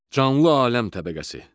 Canlı aləm təbəqəsi.